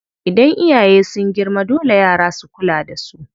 Idan iyaye sun girma, dole yara su kula da su.